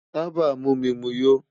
Taba mu mi mu yó